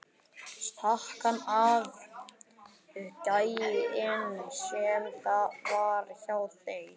Stakk hann ekki af, gæinn sem var hjá þér?